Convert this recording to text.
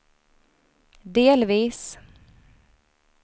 delvis